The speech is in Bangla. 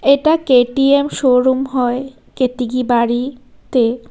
এটা কে_টি_এম শোরুম হয় কেতকিবাড়িতে--